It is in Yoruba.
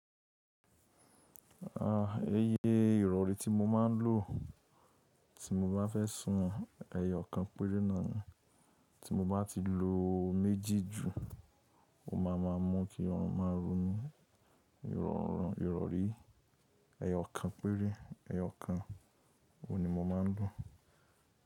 Iye ìrọ̀rí tí mo máa ń lò tí mo bá fẹ́ sún ẹ̀yọ̀ kan péré náà ni tí mo bá ti lo méjì jù, ó ma ma mọ kí ọrùn máa ro mí. Ìrọ̀rí ẹ̀yọ̀ kan péré, ẹ̀yọ̀ kan, oun ni mo máa ń lò.